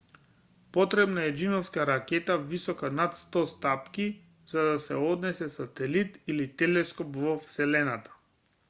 потребна е џиновска ракета висока над 100 стапки за да се однесе сателит или телескоп во вселената